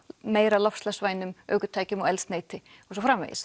meira loftslagsvænum ökutækjum og eldsneyti